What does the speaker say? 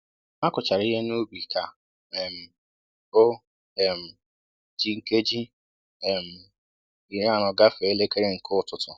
A kụchara ihe n'ubi ka um o um ji nkeji um iri anọ gafee elekere nke ụtụtụ